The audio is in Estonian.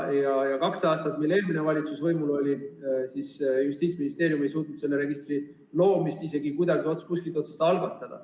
Nende kahe aasta jooksul, mis eelmine valitsus võimul oli, ei suutnud Justiitsministeerium selle registri loomist isegi mitte kuskilt otsast alustada.